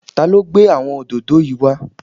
Ta ló gbé àwọn òdòdó yìí wá?